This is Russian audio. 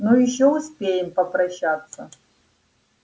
ну ещё успеем попрощаться